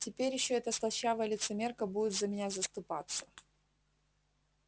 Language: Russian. теперь ещё эта слащавая лицемерка будет за меня заступаться